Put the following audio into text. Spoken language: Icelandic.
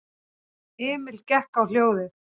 Emil gekk á hljóðið.